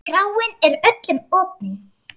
Kráin er öllum opin.